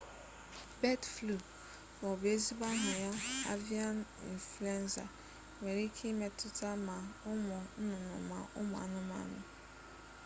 bird flu ma ọ bụ ezigbo aha ya avian influenza nwere ike imetụta ma ụmụ nnụnụ ma ụmụ anụmanụ